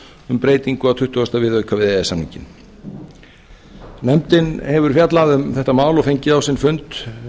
um breytingu á tuttugasta viðauka við e e s samninginn nefndin hefur fjallað um þetta mál og fengið á sinn fund